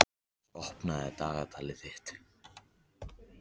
Alex, opnaðu dagatalið mitt.